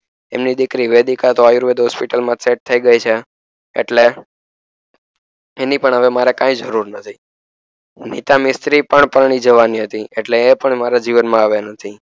એમની દીકરી Vedic Ayurveda hospital, માં સેટ થઈ ગઈ છે એટલે એની પણ હવે મારે કઈ જરૂર નથી નીતા પણ જવાની હતી એટલે હવે એપણ મારા જીવન માં નથી